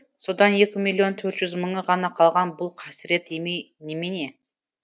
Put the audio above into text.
содан екі миллион төрт жүз мыңы ғана қалған бұл қасірет емей немене